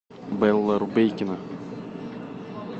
белла рубейкина